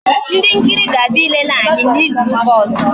Ndị nkiri ga abịa ilele anyị n'izu ụka ọzọ